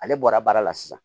Ale bɔra baara la sisan